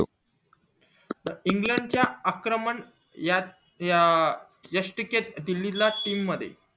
England च्या आक्रमण या या यस्टीकेट दिल्ली ला team मध्ये